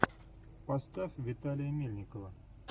поставь виталия мельникова